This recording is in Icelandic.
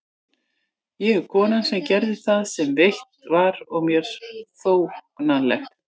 Ég er konan sem gerði það sem rétt var og mér þóknanlegt.